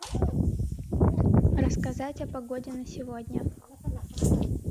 рассказать о погоде на сегодня